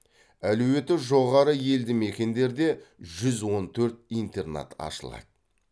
әлеуеті жоғары елді мекендерде жүз он төрт интернат ашылады